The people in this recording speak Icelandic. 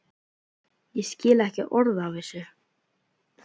Ég skil ekki orð af þessu.